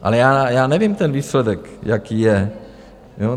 Ale já nevím, ten výsledek, jaký je?